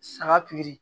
Saga